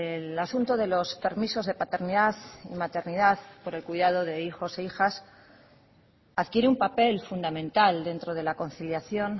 el asunto de los permisos de paternidad y maternidad por el cuidado de hijos e hijas adquiere un papel fundamental dentro de la conciliación